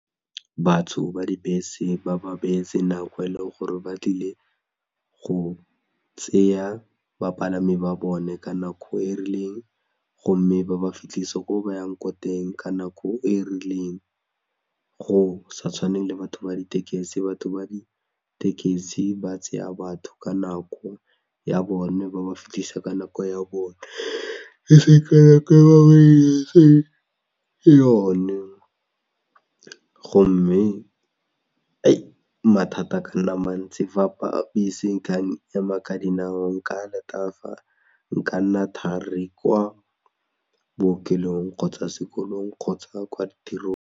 Batho ba dibese ba ba beetse nako e leng gore ba tlile go tseya bapalami ba bone ka nako e rileng gomme ba ba fitlhise ko ba yang ko teng ka nako e rileng, go sa tshwaneng le batho ba ditekesi batho ba ditekesi ba tseya batho ka nako ya bone ba ba fitlhisa ka nako ya bone gomme mathata a ka nna mantsi fa ema ka dinao nka letafa nka nna thari kwa bookelong kgotsa sekolong kgotsa kwa tirong.